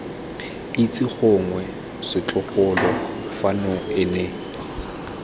itse gongwe setlogolo fano ene